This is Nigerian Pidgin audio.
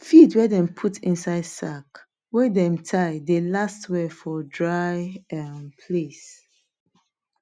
feed wey dem put inside sack wey dem tie dey last well for dry um place